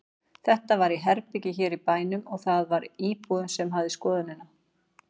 Þetta var í herbergi hér í bænum og það var íbúinn sem hafði skoðunina.